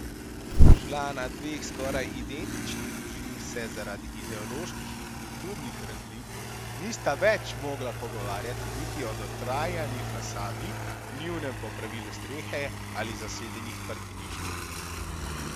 Člana dveh skoraj identičnih družin se zaradi ideoloških in kulturnih razlik nista več mogla pogovarjati niti o dotrajani fasadi, nujnem popravilu strehe ali zasedenih parkiriščih.